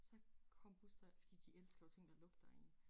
Så kom Buster fordi de elsker jo ting der lugter ik